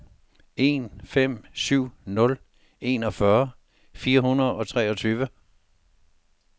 en fem syv nul enogfyrre fire hundrede og treogtyve